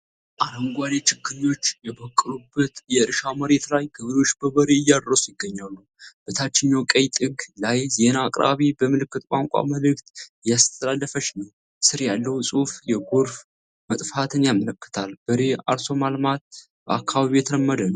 አረንጓዴ ችግኞች የበቀሉበት የእርሻ መሬት ላይ ገበሬዎች በበሬ እያረሱ ይገኛሉ። በታችኛው ቀኝ ጥግ ላይ ዜና አቅራቢ በምልክት ቋንቋ መልዕክት እያስተላለፈች ነው። ስር ያለው ጽሑፍ የጎርፍ መጥፋትን ያመለክታል። በሬ አርሶ ማልማት በአካባቢው የተለመደ ነው?